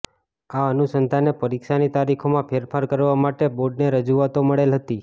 આ અનુસંધાને પરીક્ષાની તારીખોમાં ફેરફાર કરવા માટે બોર્ડને રજૂઆતો મળેલ હતી